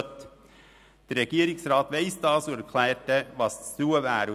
Der Regierungsrat weiss das und erklärt dann, was zu tun ist.